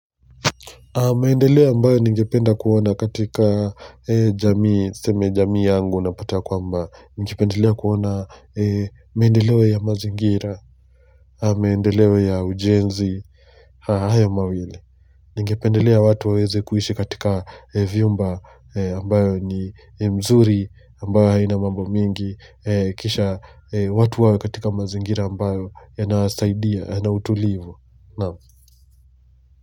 Maendeleo ambayo ningependa kuona katika jamii, seme jamii yangu napata kwamba, ningependelea kuona maendeleo ya mazingira, maendeleo ya ujenzi, haya mawili. Ningependelea watu waweze kuishi katika vyumba ambayo ni mzuri, ambayo haina mambo mingi, kisha watu wawe katika mazingira ambayo yanasaidia, yanautulivu.